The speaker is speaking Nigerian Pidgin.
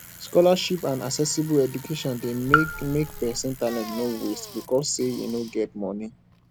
scholarships and accessible education de make make persin talent no waste because say e no get moni